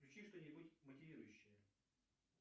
включи что нибудь мотивирующее